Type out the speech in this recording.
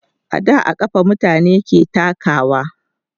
a da a kafa mutane ke takawa